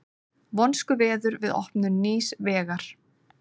Vonskuveður við opnun nýs vegar